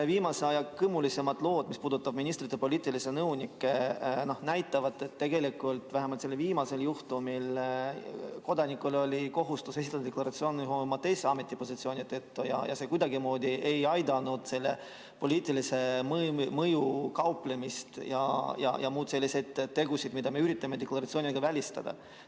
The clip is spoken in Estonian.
Viimase aja kõmulisemad lood, mis puudutavad ministrite poliitilisi nõunikke, näitavad, et tegelikult vähemalt selle viimase juhtumi korral kodanikul oli kohustus esitada huvide deklaratsioon ühe oma teise ametipositsiooni tõttu, aga see kuidagimoodi ei aidanud ära hoida poliitilise mõjuga kauplemist ja muid selliseid tegusid, mida me üritame deklaratsiooniga välistada.